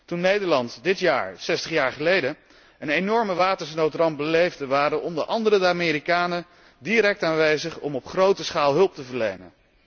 Toen Nederland dit jaar zestig jaar geleden een enorme watersnoodramp beleefde, waren onder anderen de Amerikanen direct aanwezig om op grote schaal hulp te verlenen.